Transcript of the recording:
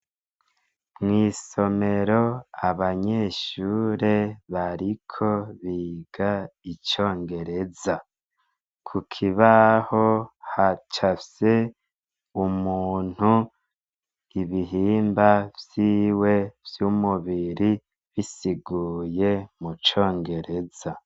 Mw'isomero abanyeshure bariko biga icongereza; kukibaho hacapfye umuntu, ibihimba vyiwe vy'umubiri bisiguye mucongereza.